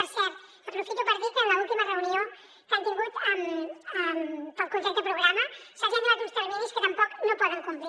per cert aprofito per dir que en l’última reunió que han tingut pel contracte programa se’ls hi han donat uns terminis que tampoc no poden complir